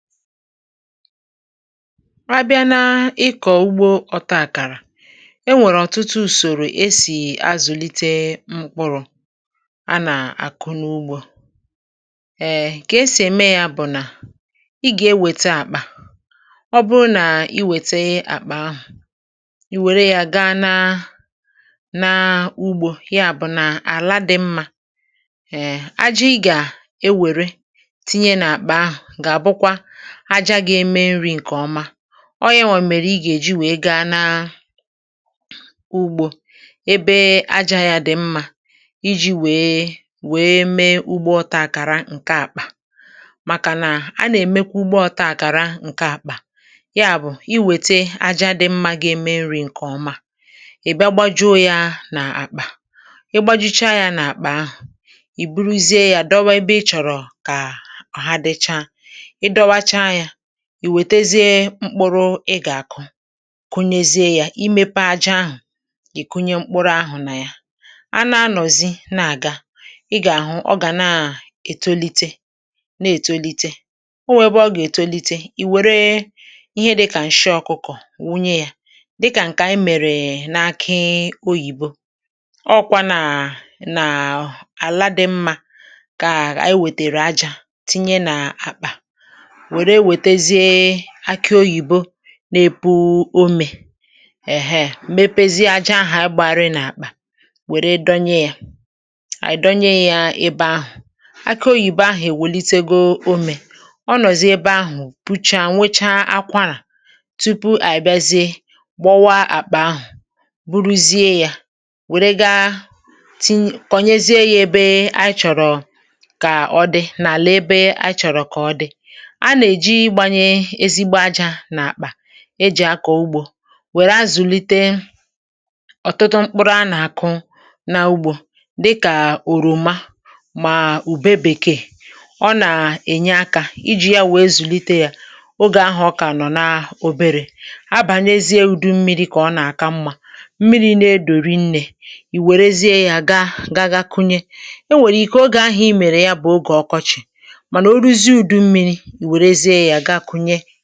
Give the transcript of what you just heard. Mgbe ị bịara n’ugbo, e nwere ọtụtụ ụzọ e ji arụ ọrụ ubi. Ihe a na-eme bụ na ị weta akpa. Ọ bụrụ na ị weta akpa ahụ, um ị ga-ewere ala sitere n’ala ọma, ọ bụghị n’ala ọjọọ, tinye ya n’ime akpa ahụ. Ala ahụ ga-abụ ezigbo ajá nri. Mgbe ahụ, ị ga-ewere ya gaa n’ugbo mee ka ala ahụ dị mma, ka ọ na-enwe amụma ọma. Mgbe i juputara akpa ahụ na ala ọma, i tọpụ ya n’ala ebe ịchọrọ ka ọ dị. Mgbe ahụ, ị ga-eweta mkpụrụ ị chọrọ ịkụ, tinye ya na ala ahụ ị kpọrọ. Mgbe i mere nke ahụ, ị ga-echere, um ị ga-ahụ na mkpụrụ ahụ ga-ebido ito, na ito, na ito. Oge ụfọdụ, ị nwere ike itinye ihe dịka nsị ọkụkọ, dịka anyị mere mgbe anyị kụchara ọka oyibo. Mgbe ala dị mma, anyị na-etinye ajá nri n’ime akpa, mgbe ahụ anyị na-akụ mkpụrụ ọka. Mgbe ọka ahụ malitere ịrịpụta, anyị na-agbasasị ajá nri ahụ n’ala ugbo ka ọ na-enyere ya ito nke ọma. Ị ga-ehicha ala nke ọma, wepụ ahịhịa niile, ma tupu ịkụ ọzọ, ị ga-akwadebe akpa ọzọ, tinye ajá nri n’ime ya, gbasasịa ya n’ala ugbo dịka ịchọrọ. Ọ bụ otu a ka a na-eme ugbo. Mgbe ọzọ, um ma ike dị gị, ma ajá nri dị n’akpa, ị ga-eji ya kụọ mkpụrụ dị iche iche dịka oroma na ube bekee. Ha na-enye uru nke a ga-eji kpalite ma mee ka ihe bawanye. N’oge ọkọchị, mgbe mmiri adịghị, a na-eji mmiri gbaa ajá nri ịṅụ mmiri ka ihe ọkụkụ ahụ ghara imịcha. N’ụzọ a, i nwere ike ịga n’ihu imezi ma tinye ihe ọzọ dịka ihe onye ọ bụla chọrọ ime.